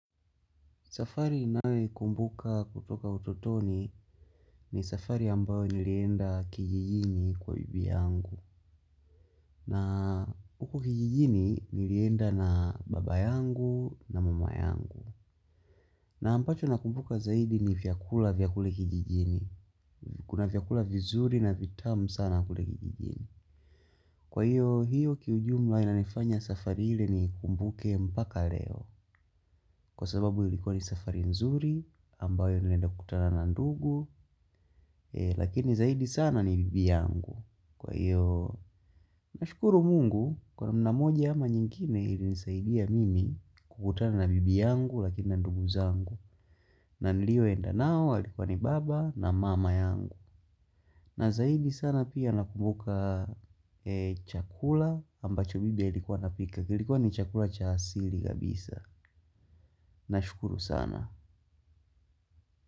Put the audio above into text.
Safari ninayo ikumbuka kutoka utotoni ni safari ambayo nilienda kijijini kwa bibi yangu. Na huko kijijini nilienda na baba yangu na mama yangu. Na ambacho nakumbuka zaidi ni vyakula vya kule kijijini. Kuna vyakula vizuri na vitamu sana kule kijijini kwa hiyo hiyo kiujumla inanifanya safari ile ni ikumbuke mpaka leo. Kwa sababu ilikuwa ni safari nzuri ambayo nilienda kukutana na ndugu lakini zaidi sana ni bibi yangu kwa hiyo nashukuru mungu kwa namna moja ama nyingine ilinisaidia mimi kukutana na bibi yangu lakini na ndugu zangu na nilio enda nao walikuwa ni baba na mama yangu na zaidi sana pia nakumbuka chakula ambacho bibi ya alikuwa anapika kilikuwa ni chakula cha asili kabisa nashukuru sana.